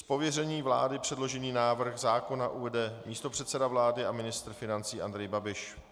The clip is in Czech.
Z pověření vlády předložený návrh zákona uvede místopředseda vlády a ministr financí Andrej Babiš.